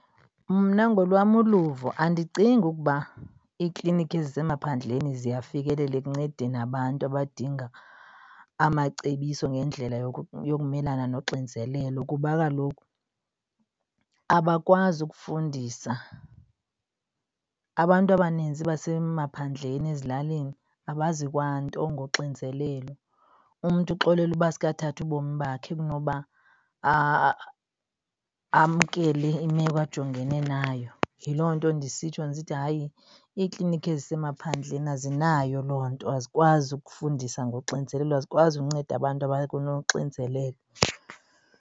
Mna ngolwam uluvo andicingi ukuba iikliniki ezisemaphandleni ziyafikeleleka ikuncedeni abantu abadinga amacebiso ngendlela yokumelana noxinizelelo kuba kaloku abakwazi ukufundisa. Abantu abanintsi basemaphandleni ezilalini abazi kwanto ngoxinizelelo. Umntu kuxolela uba asuke athathe ubomi bakhe kunoba amkele imeko ajongene nayo. Yiloo nto ndisitsho ndisithi hayi iiklinikhi ezisemaphandleni azinayo loo nto, azikwazi ukufundisa ngoxinizelelo azikwazi ukunceda abantu abanoxinzelelo.